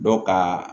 Dɔ ka